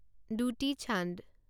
দুটি চান্দ